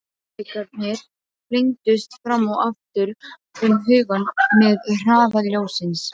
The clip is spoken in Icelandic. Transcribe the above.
Möguleikarnir flengdust fram og aftur um hugann með hraða ljóssins.